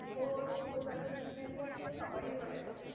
দুটো দুটো vactian নিতে তো সকাল হয়েগেছে